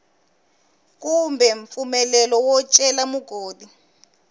kumbe mpfumelelo wo cela mugodi